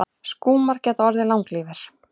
Skúmar geta orðið langlífir.